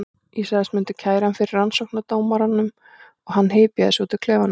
Ég sagðist myndu kæra hann fyrir rannsóknardómaranum og hann hypjaði sig út úr klefanum.